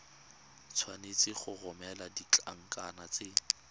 tshwanetse go romela ditlankana tse